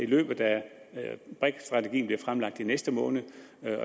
løbende brik strategien bliver fremlagt i næste måned